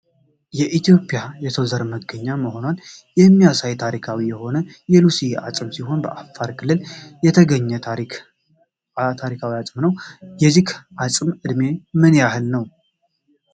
የኢትዮጵያ የሰው ዘር መገኛ መሆኗን የሚያሳይ ታሪካዊ የሆነ የሉሲ አጽም ሲሆን በአፋር ክልል የተገኘ ታሪካዊ አዕም ነው ። የዚህ አጽመም እድሜ ምን ያህል ነው?